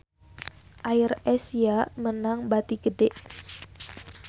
AirAsia meunang bati gede